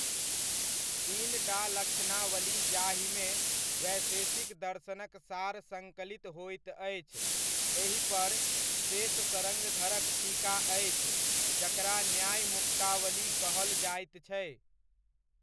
तीनटा लक्षनावली जाहिमे वैशेषिक दर्शनक सार सङ्कलित होइत अछि, एहिपर सेशशर्ङ्गधरक टीका अछि जकरा न्यायमुक्तावली कहल जाइत छै।